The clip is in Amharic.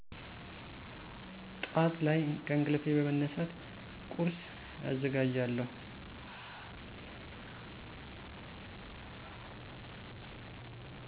ጧዕት ላይ ከእንቅልፌ በመነሳት ቁርሰ አዘጋጃለሁ።